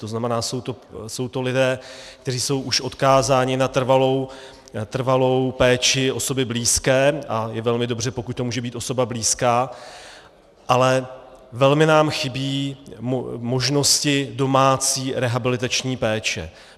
To znamená, jsou to lidé, kteří jsou už odkázáni na trvalou péči osoby blízké, a je velmi dobře, pokud to může být osoba blízká, ale velmi nám chybí možnosti domácí rehabilitační péče.